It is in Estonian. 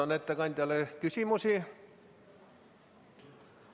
Kas ettekandjale on küsimusi?